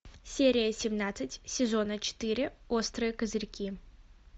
серия семнадцать сезона четыре острые козырьки